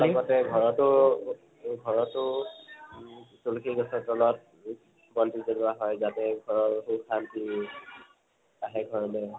তাৰ লগতে ঘৰটো তুলসী গছৰ তলত বন্তি জলুৱা হয় যাতে ঘৰৰ সুখ শান্তি আহে ঘৰলৈ